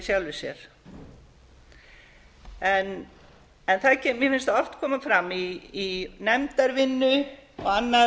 framkvæmdarvald í sjálfu sér mér finnst oft koma fram í nefndarvinnu og annað